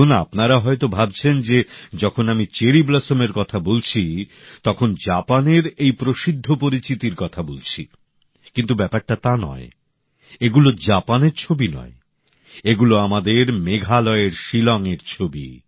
এখন আপনারা হয়ত ভাবছেন যে যখন আমি চেরি ব্লসমের কথা বলছি তখন জাপানের এই প্রসিদ্ধ পরিচিতির কথা বলছি কিন্তু ব্যাপারটা তা নয় এগুলো জাপানের ছবি নয় এগুলো আমাদের মেঘালয়ের শিলঙের ছবি